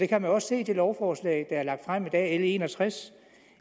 kan jo også se i det lovforslag der er lagt frem i dag l en og tres